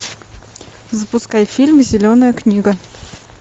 запускай фильм зеленая книга